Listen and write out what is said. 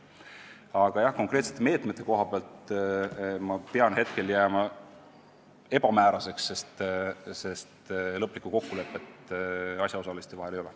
Aga jah, konkreetsete meetmete koha pealt pean hetkel jääma ebamääraseks, sest lõplikku kokkulepet asjaosaliste vahel ei ole.